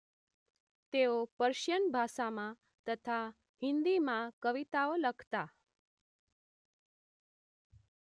તેઓ પર્શિયન ભાષામાં તથા હિન્દીમાં કવિતાઓ લખતા